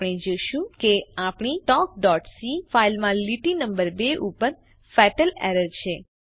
આપણે જોશું કે આપણી talkસી ફાઈલમાં લીટી નમ્બર 2 ઉપર ફેટલ એરર છે